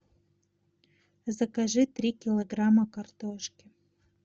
закажи три килограмма картошки